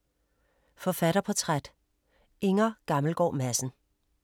Forfatterportræt: Inger Gammelgaard Madsen